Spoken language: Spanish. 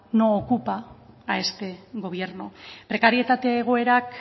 no ocupa a este gobierno prekarietate egoerak